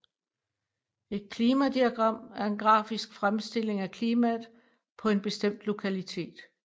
Et klimadiagram en grafisk fremstilling af klimaet på en bestemt lokalitet